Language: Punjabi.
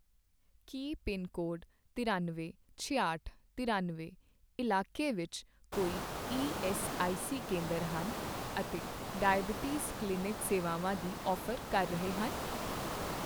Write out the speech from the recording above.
ਕੀ ਪਿੰਨਕੋਡ ਤਰਿਅਨਵੇਂ, ਛਿਆਹਟ, ਤਰਿਅਨਵੇਂ ਇਲਾਕੇ ਵਿੱਚ ਕੋਈ ਈਐੱਸਆਈਸੀ ਕੇਂਦਰ ਹਨ ਅਤੇ ਡਾਇਬੀਟੀਜ਼ ਕਲੀਨਿਕ ਸੇਵਾਵਾਂ ਦੀ ਔਫ਼ਰ ਕਰ ਰਹੇ ਹਨ?